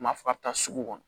U m'a fɔ a bɛ taa sugu kɔnɔ